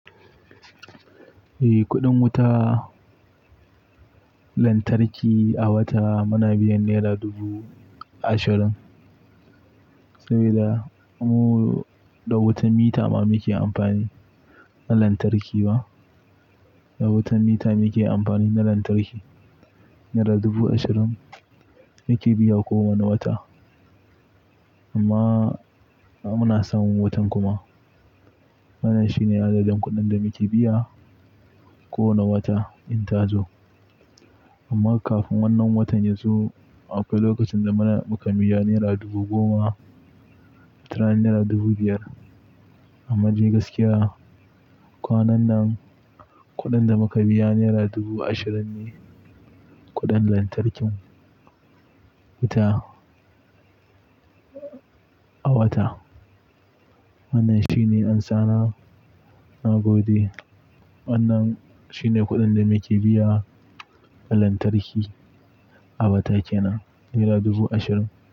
Eh, kuɗin wuta lantarki a wata muna biyan naira dubu ashirin. Saboda mu da wutan mita ma muke amfani na lantarki ba. Da wutan mita muke amfani na lantarki. Naira dubu ashirin muke biya kowane wata. Amma muna samun wutan kuma. Wannan shine adadin kuɗin da muke biya kowane wata in ta zo. Amma kafin wannan watan ya zo, akwai lokacin da muka biya naira dubu goma, watarana naira dubu biyar. Amma dai gaskiya, kwanan nan kuɗin da muka biya naira dubu ashirin ne kuɗin lantarkin wuta a wata. Wannan shine ansana, na gode. Wannan shine kuɗin da muke biya na lantarki a wata kenan, naira dubu ashirin.